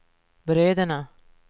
bröderna